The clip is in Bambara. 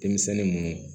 Denmisɛnnin munnu